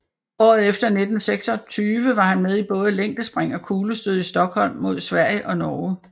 Året efter i 1926 var han med i både længdespring og kuglestød i Stockholm mod Sverige og Norge